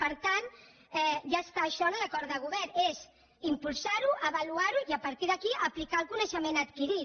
per tant ja està això en l’acord de govern és impulsar ho avaluar ho i a partir d’aquí aplicar el coneixement adquirit